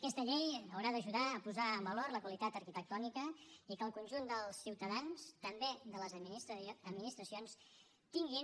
aquesta llei haurà d’ajudar a posar en valor la qualitat arquitectònica i que el conjunt dels ciutadans també de les administracions tinguin